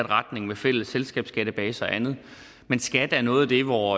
retning med fælles selskabsskattedatabase og andet men skat er noget af det hvor